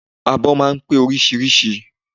Abọ́ máa ń pé oríṣiríṣi